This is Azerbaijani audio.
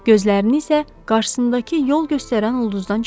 Gözlərini isə qarşısındakı yol göstərən ulduzdan çəkmirdi.